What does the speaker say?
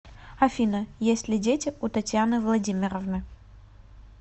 афина есть ли дети у татьяны владимировны